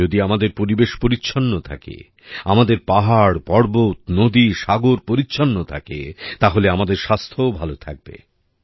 যদি আমাদের পরিবেশ পরিচ্ছন্ন থাকে আমাদের পাহাড়পর্বত নদীসাগর পরিচ্ছন্ন থাকে তাহলে আমাদের স্বাস্থ্যও ভালো থাকবে